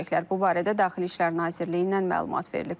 Bu barədə Daxili İşlər Nazirliyindən məlumat verilib.